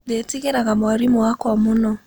Ndetigĩraga mwarimũ wakwa mũno